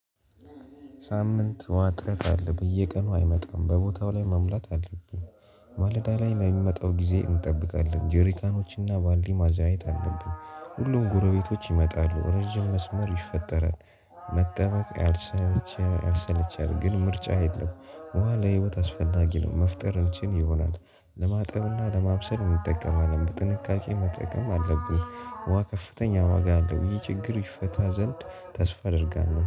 ሳምንት ውሃ እጥረት አለ በየቀኑ አይመጣም በቦታው ላይ መሙላት አለብን። ማለዳ ላይ የሚመጣው ጊዜ እንጠብቃለን ጄሪካኖችና ባልዲ ማዛኘት አለብን ሁሉም ጎረቤቶች ይመጣሉ ረጅም መስመር ይፈጠራል፤ መጠበቅ ያልሰለቸ ያሰለቻል ግን ምርጫ የለም በኋላ ህይወት አስፈላጊ ነው መፍጠር እንችል ይሆናል ለማጥብና ለማብሰል እንጠቀማለን በጥንቃቄ መጠቀም አለብን፤ ውሃ ከፍተኛ ዋጋ አለው ይህ ችግር ይፈታ ዘንድ ተስፋ አደርጋለሁ